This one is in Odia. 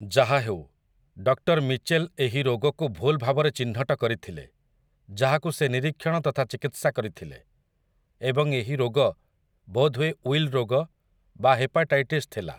ଯାହା ହେଉ, ଡକ୍ଟର ମିଚେଲ୍ ଏହି ରୋଗକୁ ଭୁଲ ଭାବରେ ଚିହ୍ନଟ କରିଥିଲେ ଯାହାକୁ ସେ ନିରୀକ୍ଷଣ ତଥା ଚିକିତ୍ସା କରିଥିଲେ, ଏବଂ ଏହି ରୋଗ ବୋଧହୁଏ ୱିଲ୍ ରୋଗ ବା ହେପାଟାଇଟିସ୍ ଥିଲା ।